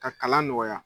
Ka kalan nɔgɔya